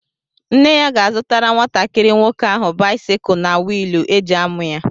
Nne ya ga-azụtara nwatakịrị nwoke áhù báịsikụ na wịịlụ e ji ámụ̀ ya